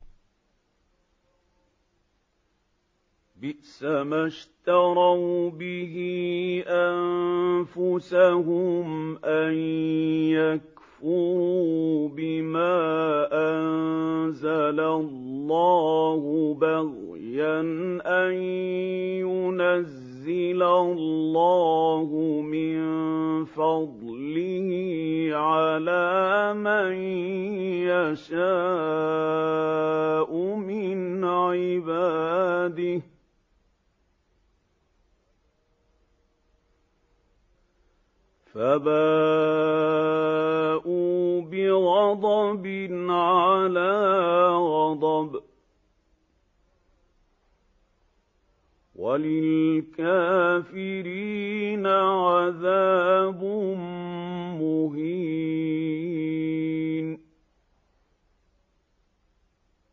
بِئْسَمَا اشْتَرَوْا بِهِ أَنفُسَهُمْ أَن يَكْفُرُوا بِمَا أَنزَلَ اللَّهُ بَغْيًا أَن يُنَزِّلَ اللَّهُ مِن فَضْلِهِ عَلَىٰ مَن يَشَاءُ مِنْ عِبَادِهِ ۖ فَبَاءُوا بِغَضَبٍ عَلَىٰ غَضَبٍ ۚ وَلِلْكَافِرِينَ عَذَابٌ مُّهِينٌ